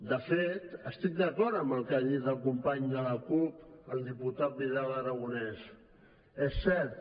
de fet estic d’acord amb el que ha dit el company de la cup el diputat vidal aragonés és cert